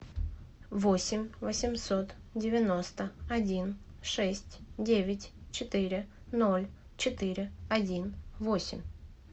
восемь восемьсот девяносто один шесть девять четыре ноль четыре один восемь